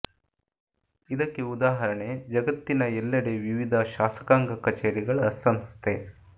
ಇದಕ್ಕೆ ಉದಾಹರಣೆ ಜಗತ್ತಿನ ಎಲ್ಲೆಡೆ ವಿವಿಧ ಶಾಸಕಾಂಗ ಕಛೇರಿಗಳ ಸಂಸ್ಥೆ